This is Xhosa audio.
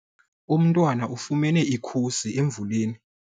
Umntwana ufumene ikhusi emvuleni.